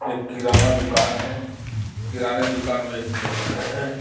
एक किराना दुकान है किराने दुकान में एक टेबल है.